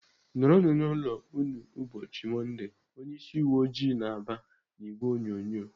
"Nọrọ nụ n'ụlọ unu n'ubochi mondee!" Onye ịsị uwe ojii na-aba n'ìgwè onyonyo.